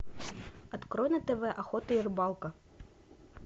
открой на тв охота и рыбалка